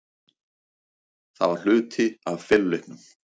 Það var hluti af feluleiknum.